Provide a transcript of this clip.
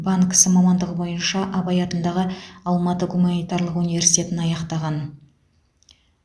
банк ісі мамандығы бойынша абай атындағы алматы гуманитарлық университетін аяқтаған